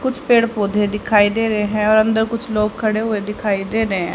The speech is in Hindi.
कुछ पेड़ पौधे दिखाई दे रहें है और अंदर कुछ लोग खड़े हुए दिखाई दे रहें